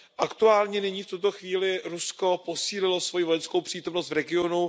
Aktuálně nyní v tuto chvíli Rusko posílilo svoji vojenskou přítomnost v regionu.